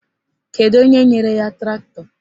Kedu onye nyere ya traktọ?